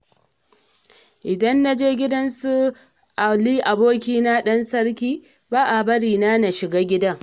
Idan na je gidan su Ali abikina ɗan sarki, ba a bari na na shiga gidan.